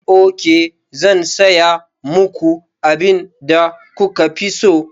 Ok, zan saya muku abin da kuka fi so.